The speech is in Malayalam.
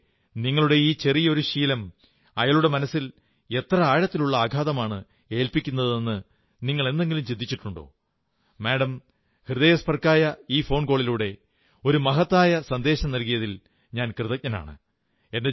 പക്ഷേ നിങ്ങളുടെ ഈയൊരു ചെറിയ ശീലം അയാളുടെ മനസ്സിൽ എത്ര ആഴത്തിലുള്ള ആഘാതമാണ് ഏൽപ്പിക്കുന്നതെന്ന് നിങ്ങൾ എന്നെങ്കിലും ചിന്തിച്ചിട്ടുണ്ടോ മാഡം ഹൃദയസ്പൃക്കായ ഈ ഫോൺകോളിലൂടെ ഒരു മഹത്തായ സന്ദേശമേകിയതിൽ ഞാൻ കൃതജ്ഞനാണ്